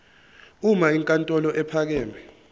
uma inkantolo ephakeme